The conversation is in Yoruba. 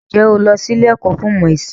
Ǹjẹ́ o lọ sí ilé ẹ̀kọ́ fún ìmọ̀ ẹ̀sìn?